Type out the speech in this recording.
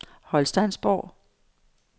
Holsteinsborg